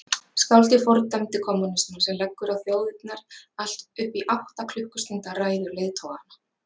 Skáldið fordæmdi kommúnismann sem leggur á þjóðirnar allt upp í átta klukkustunda ræður leiðtoganna.